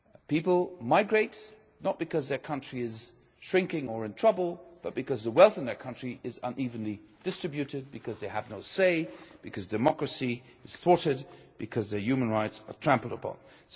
People migrate not because their country's economy is shrinking or in trouble but because the wealth in their country is unevenly distributed, because they have no say, because democracy is thwarted, because their human rights are trampled upon.